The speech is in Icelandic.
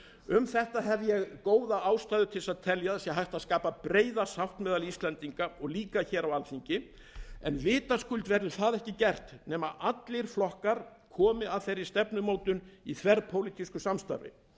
um þetta hef ég góða ástæðu til að telja að hægt sé að skapa breiða sátt meðal íslendinga og líka hér á alþingi en vitaskuld verður það ekki gert nema allir flokkar komi að þeirri stefnumótun í þverpólitísku samstarfi